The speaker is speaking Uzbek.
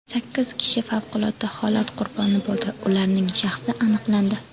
Sakkiz kishi favqulodda holat qurboni bo‘ldi, ularning shaxsi aniqlandi.